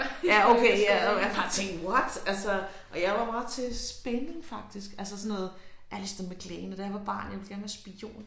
Ja okay ja bare tænkte what altså og jeg var meget til spænding faktisk altså sådan noget Alistair MacLean og da jeg var barn jeg ville gerne være spion